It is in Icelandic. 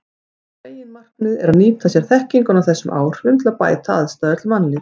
Meginmarkmiðið er að nýta sér þekkinguna á þessum áhrifum til að bæta aðstæður til mannlífs.